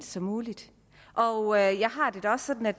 som muligt og jeg har det da også sådan at